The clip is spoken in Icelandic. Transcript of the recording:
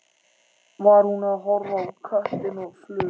Var hún að horfa á köttinn og fluguna?